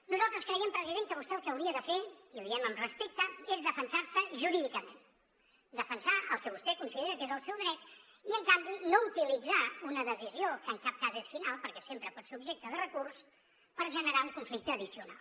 nosaltres creiem president que vostè el que hauria de fer i ho diem amb respecte és defensar se jurídicament defensar el que vostè considera que és el seu dret i en canvi no utilitzar una decisió que en cap cas és final perquè sempre pot ser objecte de recurs per generar un conflicte addicional